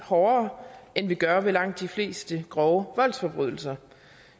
hårdere end vi gør ved langt de fleste grove voldsforbrydelser